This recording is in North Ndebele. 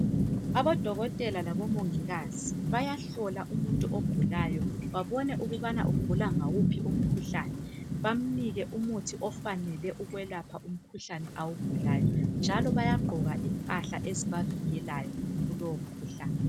Abodokotela labomongikazi bayahlola umuntu ogulayo babone ukubana ugula ngawuphi umkhuhlane bamnike umuthi ofaneleyo ukwelapha umkhuhlane awugulayo njalo bayagqoka impahla ezibavikelayo kulowo mkhuhlane.